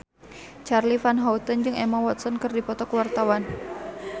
Charly Van Houten jeung Emma Watson keur dipoto ku wartawan